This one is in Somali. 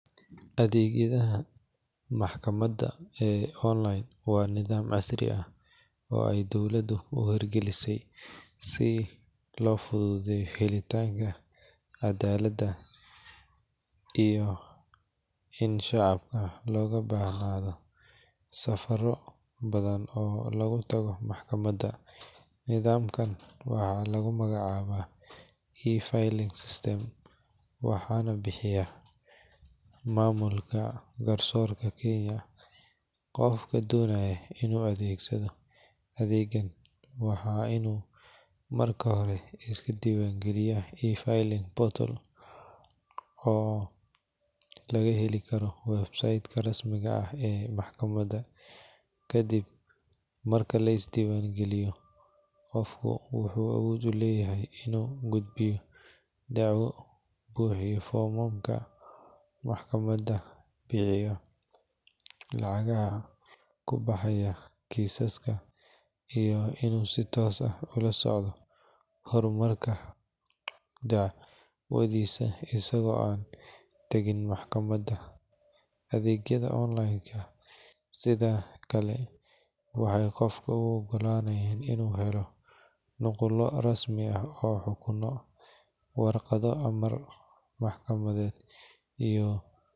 Adeegyada maxkamada waa nidaam casri ah oo loo sameeya si loo helo cadakad, iyo in dadka laga qaado safaro badan, waxaa bixiya mamulka gatsoorka Kenya, waa in lis diiban galiyo, kadib wuxuu awood uleyahay inuu bixiyo dacwo, bixiyo lacagaha kubaxaayo, lasocdo, waxeey sido kale u ogolanayaan inuu helo warqada amar maxkamadeed.